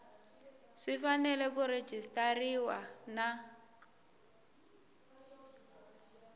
swi fanele ku rejistariwa na